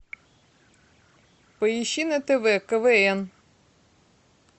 поищи на тв квн